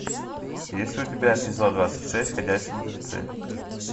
есть ли у тебя эпизод двадцать шесть ходячие мертвецы